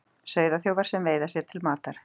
Sauðaþjófar sem veiða sér til matar